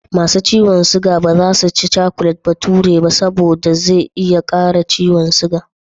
Ma su ciyon siga ba za su ci cakulet bahature, saboda zai iya ƙara yawan siga.